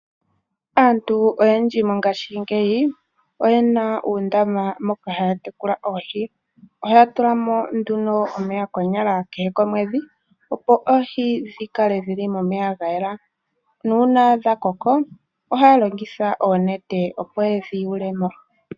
Aantu oyendji mongaashingeyi oye na uundama moka haya tekula oohi. Ohaya tula mo nduno omeya konyala kehe komwedhi, opo oohi dhi kale dhili momeya ga yela, nuuna dha koko ohaya longitha oonete opo yedhi yule mo.